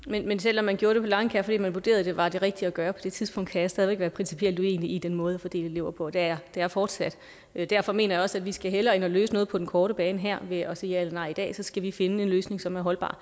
men selv om man gjorde det på langkaer fordi man vurderede at det var det rigtige at gøre på det tidspunkt kan jeg stadig væk være principielt uenig i den måde at fordele elever på og det er jeg fortsat derfor mener jeg også at vi hellere skal ind og løse noget på den korte bane her ved at sige ja eller nej i dag skal vi finde en løsning som er holdbar